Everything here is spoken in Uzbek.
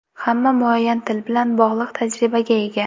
Hamma muayyan til bilan bog‘liq tajribaga ega.